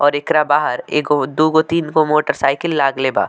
और एकरा बाहर एगो दूगो तीन गो मोटर साइकिल लागले बा।